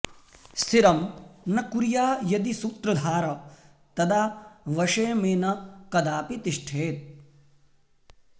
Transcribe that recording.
स्थिरं न कुर्या यदि सूत्रधार तदा वशे मे न कदापि तिष्ठेत्